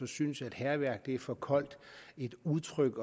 synes at hærværk er for koldt et udtryk